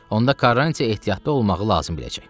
Onda Karrantı ehtiyatlı olmağı lazım biləcək.